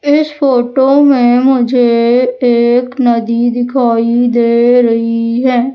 इस फोटो में मुझे एक नदी दिखाई दे रही है।